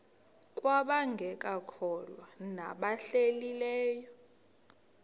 kwabangekakholwa nabahlehli leyo